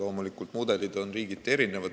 Loomulikult, mudelid on riigiti erinevad.